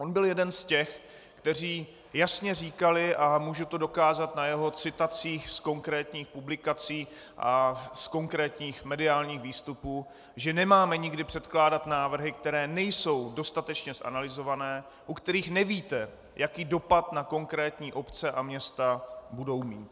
On byl jeden z těch, kteří jasně říkali, a můžu to dokázat na jeho citacích z konkrétních publikací a z konkrétních mediálních výstupů, že nemáme nikdy předkládat návrhy, které nejsou dostatečně zanalyzované, u kterých nevíte, jaký dopad na konkrétní obce a města budou mít.